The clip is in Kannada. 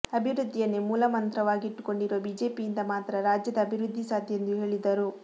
ಅಭಿವೃದ್ಧಿಯನ್ನೇ ಮೂಲಮಂತ್ರವಾಗಿಟ್ಟುಕೊಂಡಿರುವ ಬಿಜೆಪಿಯಿಂದ ಮಾತ್ರ ರಾಜ್ಯದ ಅಭಿವೃದ್ಧಿ ಸಾಧ್ಯ ಎಂದು ಹೇಳಿದರು